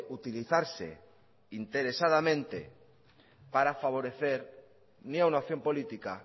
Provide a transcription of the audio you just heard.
utilizarse de manera interesadamente para favorecer ni una opción política